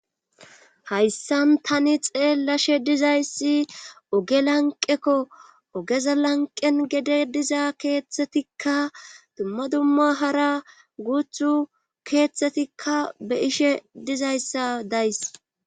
Hayssan tani xeellashe dizayssi oge lanqekko ogeza lanqen gede diza keeththetikka dumma dumma hara guuthu keeththetikka be ishe dizayssa days.